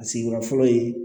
A sigiyɔrɔ fɔlɔ ye